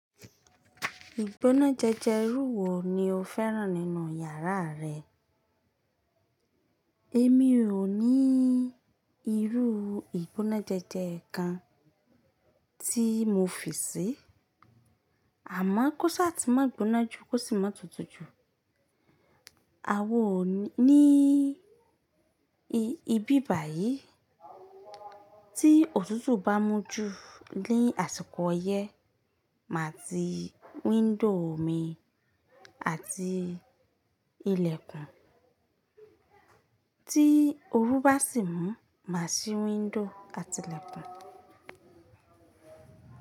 Ìgbóná jẹjẹ rú wo ni o féràn nínú yàrá rẹ? Èmi ò ní irú ìgbóná jẹjẹ kan tí mo fi si. Àmo kóṣà ti má gbóná jù kósi má tutù jù. A o ní ibi báyìí tí òtútù bá mú ju ní àsìkò ọyẹ́ má ti window mi àti ilẹ̀kùn. Tí oru bá sì mú má ṣí window àti ilẹ̀kùn.